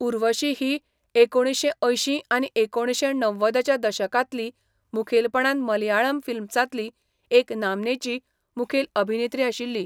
उर्वशी ही एकुणशें अंयशीं आनी एकुणशें णव्वदच्या दशकांतली मुखेलपणान मलयाळम फिल्म्सांतली एक नामनेची मुखेल अभिनेत्री आशिल्ली.